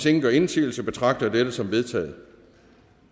ingen gør indsigelse betragter jeg dette som vedtaget